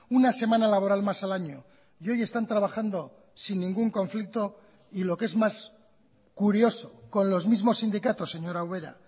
una semana laboral más al año y hoy están trabajando sin ningún conflicto y lo que es más curioso con los mismos sindicatos señora ubera